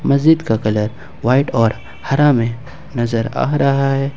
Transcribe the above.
मस्जिद का colour white और हरा में नजर आ रहा है।